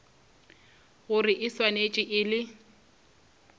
gore e swanetše e le